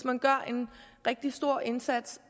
man gør en rigtig stor indsats